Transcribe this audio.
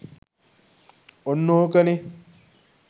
ඔන්න ඕකනේ